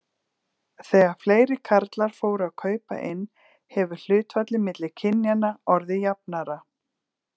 Þegar fleiri karlar fóru að kaupa inn hefur hlutfallið milli kynjanna orðið jafnara.